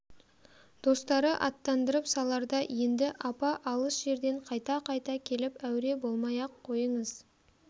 достары аттандырып саларда енді апа алыс жерден қайта-қайта келіп әуре болмай-ақ қойыңыз